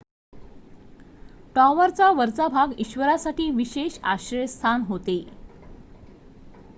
टॉवरचा वरचा भाग ईश्वरासाठी विशेष आश्रयस्थान होते